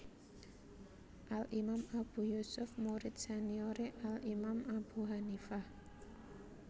Al Imam Abu Yusuf murid seniore Al Imam Abu Hanifah